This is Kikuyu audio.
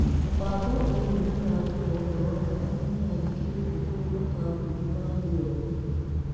Mũbango ũyũ nĩ ũraruta ũhoro wa arĩa menyandĩkithĩtie kũrĩ makambuni ma thĩ yothe.